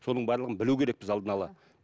соның барлығын білу керекпіз алдын ала